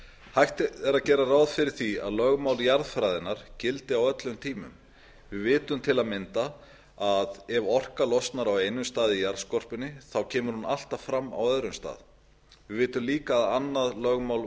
hægt er að gera ráð fyrir því að lögmál jarðfræðinnar gildi á öllum tímum við vitum til að mynda að ef orka losnar á einum stað í jarðskorpunni kemur hún alltaf fram á öðrum stað við vitum líka að annað lögmál